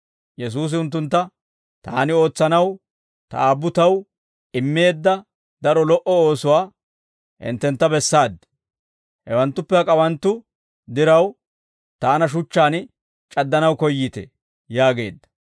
Yesuusi unttuntta, «Taani ootsanaw Ta Aabbu Taw immeedda daro lo"o oosuwaa hinttentta bessaaddi; hewanttuppe hak'awanttu diraw, Taana shuchchaan c'addanaw koyyiitee?» yaageedda.